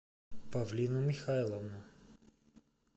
павлину михайловну